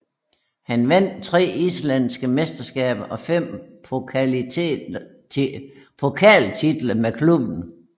Han vandt tre islandske mesterskaber og fem pokaltitler med klubben